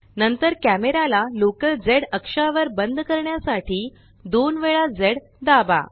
नंतर कॅमेराला लोकलz अक्षावर बंद करण्यासाठी दोन वेळा झ दाबा